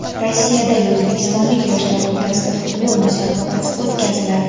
Rossiyadagi o‘zbekistonlik yoshlar o‘rtasida futbol musobaqasi o‘tkaziladi.